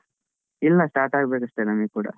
ಇಲ್ಲ start ಆಗ್ಬೇಕು ಅಷ್ಟೆ ನಮಿಗ್ ಕೂಡ.